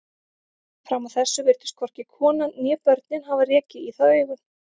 Fram að þessu virtust hvorki konan né börnin hafa rekið í það augun.